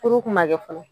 Kuru kun ma kɛ fɔlɔ